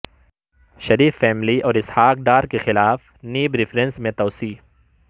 شریف family اور اسحاق ڈار کیخلاف NAB references میں توسیع